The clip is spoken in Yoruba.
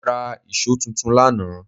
Mó rá íṣo tuntun lánàá